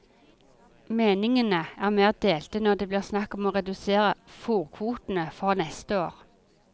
Meningene er mer delte når det blir snakk om å redusere fôrkvotene for neste år.